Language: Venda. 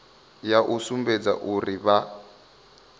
ya u sumbedza uri vha